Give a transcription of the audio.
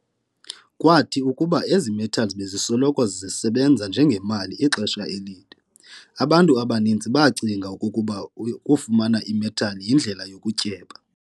Kwathi kuba ezi-metals bezisoloko zesebanza njengemali ixesha elide, abantu abaninzi baacinga okokuba ukufumana i-metal iindlela yokutyeba.